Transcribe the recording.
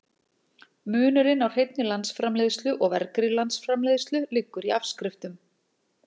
Munurinn á hreinni landsframleiðslu og vergri landsframleiðslu liggur í afskriftum.